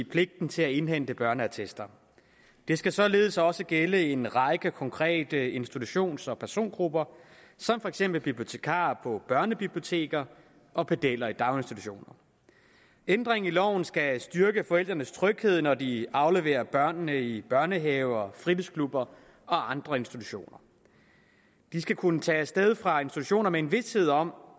pligten til at indhente børneattester det skal således også gælde en række konkrete institutions og persongrupper som for eksempel bibliotekarer på børnebiblioteker og pedeller i daginstitutioner ændringen af loven skal styrke forældrenes tryghed når de afleverer børnene i børnehaver fritidsklubber og andre institutioner de skal kunne tage afsted fra institutionerne med en vished om